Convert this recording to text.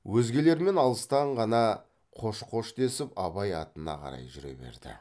өзгелермен алыстан ғана қош қош десіп абай атына қарай жүре берді